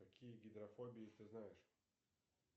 какие виды фобии ты знаешь